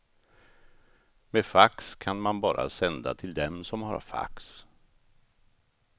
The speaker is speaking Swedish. Med fax kan man bara sända till dem som har fax.